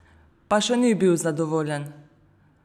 Pa še ni bil zadovoljen!